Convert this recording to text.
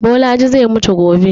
Bolaji zai mutu gobe